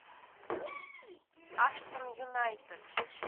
аштон юнайтед